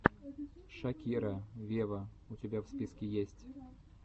шакира вево у тебя в списке есть